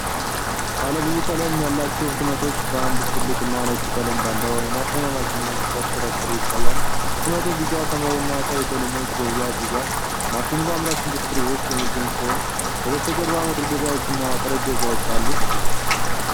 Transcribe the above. ባለ ብዙ ቀለም ያላቸው ህትመቶች በአንድ ትልቅና ነጭ ቀለም ባለው የማተሚያ ማሽን ውስጥ ሲሽከረከሩ ይታያል። ህትመቱ ቢጫ፣ ሰማያዊና ቀይ ቀለሞችን በብዛት ይዟል። ማሽኑ በአምራች ኢንዱስትሪ ውስጥ የሚገኝ ሲሆን፣ ከበስተጀርባ መደርደሪያዎችና ጠረጴዛዎች አሉ።